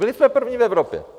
Byli jsme první v Evropě.